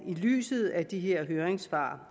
i lyset af de her høringssvar